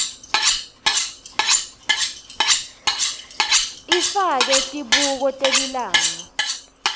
ifake tibuko telilanga